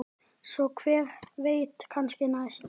Svo hver veit, kannski næst?